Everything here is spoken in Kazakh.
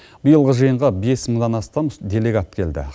биылғы жиынға бес мыңнан астам делегат келді